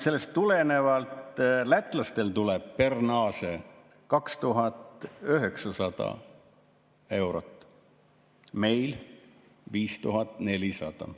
Sellest tulenevalt lätlastel tuleb per nase 2900 eurot, meil 5400.